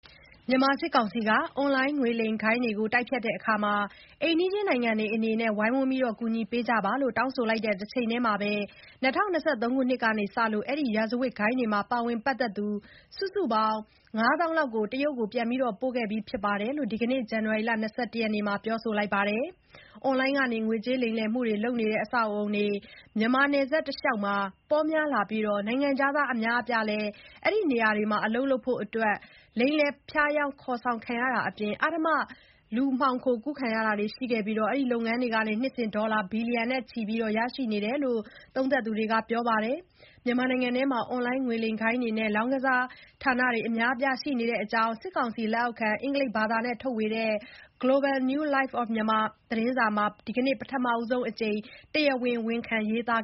မြန်မာစစ်ကောင်စီက အွန်လိုင်း ငွေလိမ်ဂိုဏ်းတွေ တိုက်ဖျက်ရာမှာ အိမ်နီးချင်းနိုင်ငံတွေကလည်း ဝိုင်းဝန်း ကူညီကြဖို့ တောင်းဆိုလိုက်တဲ့ တချိန်တည်းမှာပဲ ၂၀၂၃ ခုနှစ်ကစလို့ အဲဒီ ရာဇဝတ်ဂိုဏ်းတွေမှာ ပါဝင်ပတ်သက်သူ စုစုပေါင်း ၅၀,၀၀၀ လောက်ကို တရုတ်ပြည်ကို ပြန်ပို့ခဲ့ပြီးဖြစ်တယ်လို့ ဒီကနေ့ ဇန်နဝါရီ ၂၁ ရက်နေ့မှာ ပြောပါတယ်။ အွန်လိုင်းကနေ ငွေကြေးလိမ်လည်မှုလုပ်ဆောင်တဲ့ အဆောက်အဦတွေ မြန်မာနယ်စပ်ဒေသတလျှောက်မှာ ပေါများလာပြီး နိုင်ငံခြားသား အများအပြားလည်း အဲဒီနေရာတွေမှာ အလုပ်လုပ်ဖို့အတွက် ကိုယ့်နိုင်ငံသားအချင်းချင်း လိမ်လည် ဖျားယောင်း ခေါ်ဆောင်ခံရတာအပြင် အဓမ္မ လူမှောင်ခိုကူးခံရတာတွေ ရှိခဲ့ပြီး အဲဒီလုပ်ငန်းတွေကနေ နှစ်စဉ် ဒေါ်လာ ဘီလီယံနဲ့ချီ ရရှိနေကြတယ်လို့ သုံးသပ်သူတွေက ပြောပါတယ်။ မြန်မာနိုင်ငံအတွင်း အွန်လိုင်း ငွေလိမ်ဂိုဏ်းတွေနဲ့ လောင်းကစားဌာနတွေ အများအပြား ရှိနေတဲ့အကြောင်း စစ်ကောင်စီလက်အောက်ခံ အင်္ဂလိပ်ဘာသာနဲ့ထုတ်ဝေတဲ့ Global New Light of Myanmar သတင်းစာမှာ ဒီကနေ့ ပထမဆုံးအကြိမ် တရားဝင် ဝန်ခံ ရေးသား